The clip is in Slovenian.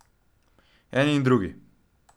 Eni in drugi.